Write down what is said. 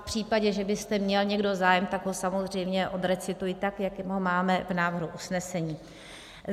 V případě, že byste měl někdo zájem, tak ho samozřejmě odrecituji tak, jak ho máme v návrhu usnesení.